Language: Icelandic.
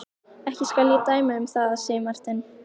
Ekki skal ég dæma um það, sagði Marteinn.